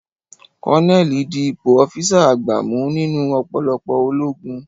Kọ́nẹ́ẹ̀lì di ipò ọ́físà àgbà mú nínú ọ̀pọ̀lọpọ̀ ológun